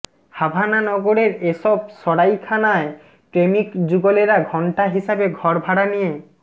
Havana নগরের এসব সরাইখানায় প্রেমিক যুগলেরা ঘণ্টা হিসাবে ঘর ভাড়া নিয়ে